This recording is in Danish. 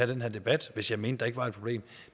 den her debat hvis jeg mente at der ikke var et problem